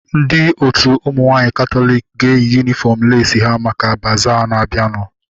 Ndị otu ụmụ nwaanyị katọliki ga-eyi yunifọm leesi ha maka bazaa na-abianu